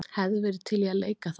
Hefði verið til í að leika þar.